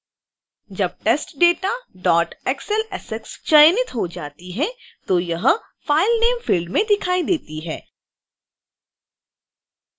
जब testdataxlsx file चयनित हो जाती है तो यह file name field में दिखाई देती है